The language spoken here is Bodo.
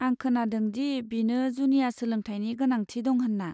आं खोनादों दि बिनो जुनिया सोलोंथायनि गोनांथि दं होन्ना।